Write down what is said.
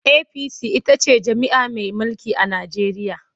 APC ita ce jam'iyya mai mulki a Najeriya.